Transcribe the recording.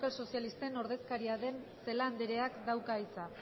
sozialisten ordezkaria den celaá andreak dauka hitza